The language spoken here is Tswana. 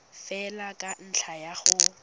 fela ka ntlha ya go